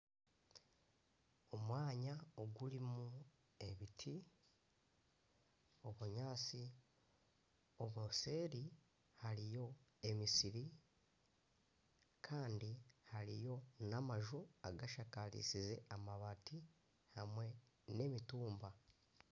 Omwanya ogurimu ebiti , obunyaatsi , nseeri hariyo emisiri kandi hariyo n'amaju agashakarisize amabati hamwe na emitumba.